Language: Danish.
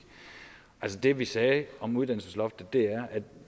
det vi sagde om uddannelsesloftet er at